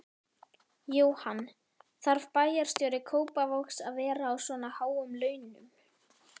Jóhann: Þarf bæjarstjóri Kópavogs að vera á svona háum launum?